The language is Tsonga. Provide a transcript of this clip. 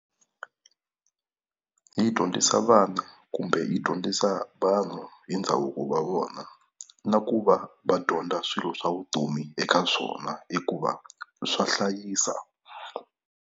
Yi dyondzisa vana kumbe yi dyondzisa vanhu hi ndhavuko wa vona na ku va va dyondza swilo swa vutomi eka swona hikuva swa hlayisa.